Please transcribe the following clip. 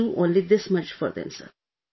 We could do only this much for them